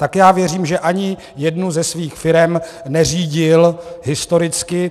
Tak já věřím, že ani jednu ze svých firem neřídil historicky.